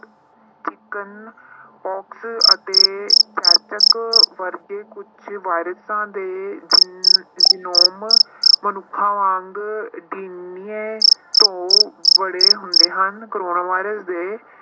chicken pox ਅਤੇ ਵਰਗੇ ਕੁਛ ਵਾਇਰਸਾਂ ਦੇ ਮਨੁੱਖਾਂ ਵਾਂਗ ਤੋਂ ਬੜੇ ਹੁੰਦੇ ਹਨ ਕੋਰੋਨਾ ਵਾਇਰਸ ਦੇ